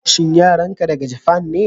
shin yaran ka daga Japan ne?